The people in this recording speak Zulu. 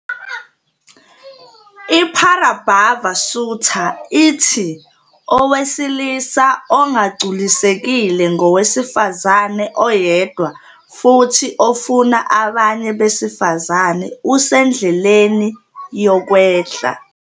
IParabhava Sutta ithi "owesilisa ongagculisekile ngowesifazane oyedwa futhi ofuna abanye besifazane usendleleni yokwehla".